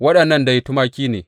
Waɗannan dai tumaki ne.